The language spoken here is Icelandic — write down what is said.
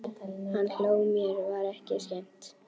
Hann hló, mér var ekki skemmt.